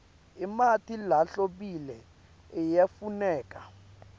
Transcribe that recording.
emanti lahlobile ayafuneka